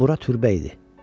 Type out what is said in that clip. Bura türbə idi.